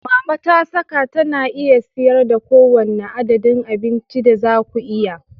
Mama ta saka tana iya siyar da kowane adadin abincin da za ku iya.